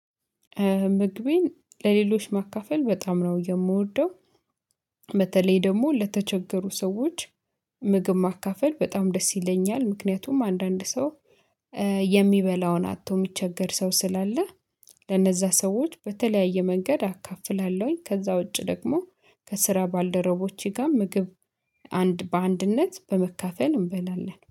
ምግቤን ለሌሎች ማካፈል በጣም ነው የምወደው። በተለይ ደግሞ ለተቸገሩ ሰዎች። ምግብ ማካፈል በጣም ደስ ይለኛል። ምክንያቱም አንዳንድ ሰው የሚበላውን አጥቶ የሚቸገር ሰው ስላለ። ለነዛ ሰዎች በተለያየ መንገድ አካፍላለሁኝ ከዛ ውጪ ደግሞ ከስራ ባልደረቦቼ ጋር ምግብ አንድ በአንድነት በመካፈል እንበላለን